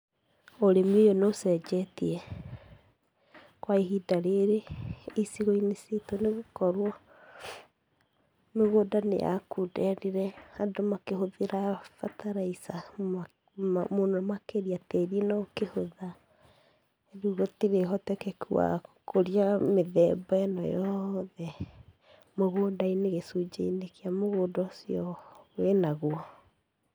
Ũrĩmi ũyũ nĩ ũcenjetie, kwa ihinda rĩrĩ, icigo-inĩ citũ nĩgũkorwo, mĩgũnda nĩ yakunderire, andũ makĩhũthĩra bataraitha mũno mũno makĩria, na tĩri ũkĩhũtha, rĩũ gũtĩrĩ ũhotekeku wa gũkũria mĩthemba ĩno yothe, mũgũnda-inĩ, gĩcunjĩ-inĩ kĩa mũgũnda ũcio wĩnaguo.